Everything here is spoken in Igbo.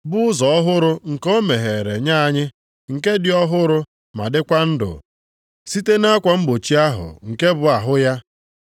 bụ ụzọ ọhụrụ nke o meghere nye anyị, nke dị ọhụrụ ma dịkwa ndụ site nʼakwa mgbochi ahụ nke bụ ahụ ya,